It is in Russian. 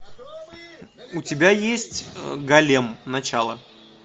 у тебя есть голем начало